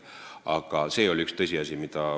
Aga see oli tõsiasi.